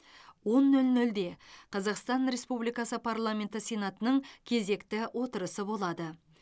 он нөл нөлде қазақстан республикасының парламенті сенатының кезекті отырысы болады